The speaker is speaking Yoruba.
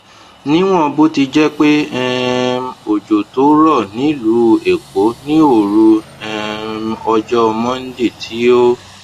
níwòn bó ti jé pé um òjò tó rò nílùú èkó ní òru um ọjó monday tí ó